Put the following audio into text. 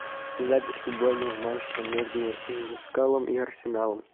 запись футбольного матча между ньюкаслом и арсеналом